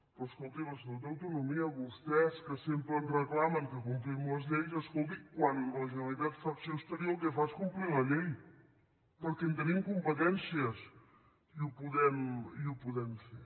però escolti l’estatut d’autonomia vostès que sempre ens reclamen que complim les lleis escolti quan la generalitat fa acció exterior el que fa és complir la llei perquè en tenim competències i ho podem fer